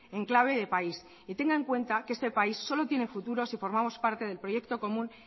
en clave de país y tenga en cuenta que este país solo tiene futuro si formamos parte del proyecto común